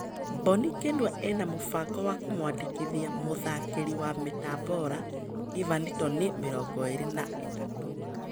Mbonikĩnua ĩnamũbango wa kũmwandĩkithia mũtharĩkĩri wa Bitambora, Ivani Toni, mĩrongoĩrĩ na-ĩtatu.